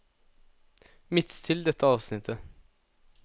Midtstill dette avsnittet